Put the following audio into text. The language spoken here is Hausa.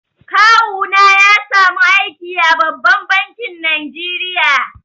Kawuna ya samu aiki a babban bankin Najeriya.